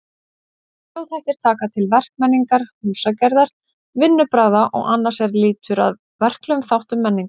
Þjóðhættir taka til verkmenningar, húsagerðar, vinnubragða og annars er lýtur að verklegum þáttum menningar.